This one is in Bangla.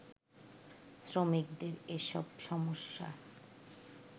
শ্রমিকদের এসব সমস্যা